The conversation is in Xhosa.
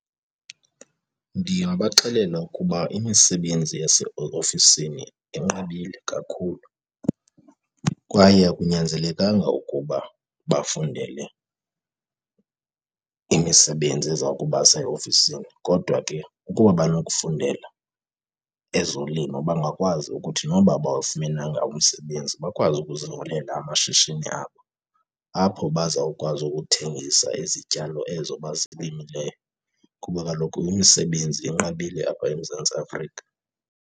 Ndingabaxelela ukuba imisebenzi yaseofisini inqabile kakhulu kwaye akunyanzelekanga ukuba bafundele imisebenzi eza kubasa eofisini. Kodwa ke ukuba banokufundela ezolimo bangakwazi ukuthi noba abawafumenanga umsebenzi, bakwazi ukuziholela amashishini abo apho bazawukwazi ukuthengisa izityalo ezo bazilimileyo kuba kaloku imisebenzi inqabile apha eMzantsi Afrika.